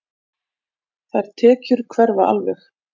Þær tekjur hverfa alveg.